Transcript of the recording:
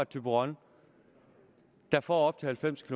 thyborøn der får op til halvfems